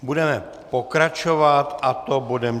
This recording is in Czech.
Budeme pokračovat, a to bodem